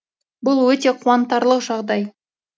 бұл өте қуантарлық жағдай